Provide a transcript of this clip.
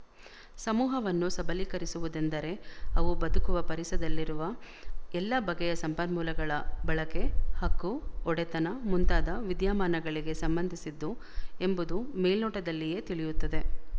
ಸಮೂಹವನ್ನು ಸಬಲೀಕರಿಸುವುದೆಂದರೆ ಅವು ಬದುಕುವ ಪರಿಸದಲ್ಲಿರುವ ಎಲ್ಲ ಬಗೆಯ ಸಂಪನ್ಮೂಲಗಳ ಬಳಕೆ ಹಕ್ಕು ಒಡೆತನ ಮುಂತಾದ ವಿದ್ಯಮಾನಗಳಿಗೆ ಸಂಬಂಧಿಸಿದ್ದು ಎಂಬುದು ಮೇಲ್ನೋಟದಲ್ಲಿಯೇ ತಿಳಿಯುತ್ತದೆ